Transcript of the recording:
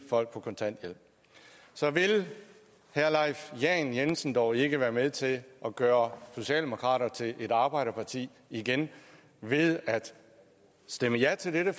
folk på kontanthjælp så vil herre leif lahn jensen dog ikke være med til at gøre socialdemokraterne til et arbejderparti igen ved at stemme ja til dette